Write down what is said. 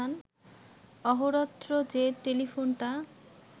অহোরাত্র যে টেলিফোনটা